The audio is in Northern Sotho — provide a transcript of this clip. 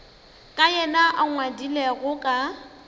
ka yena a ngwadilego ka